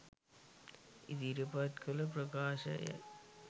ඉදිරිපත් කළ ප්‍රකාශ යි.